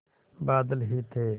बादल ही थे